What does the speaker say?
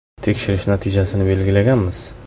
Tekshirish natijasini belgilaganmiz.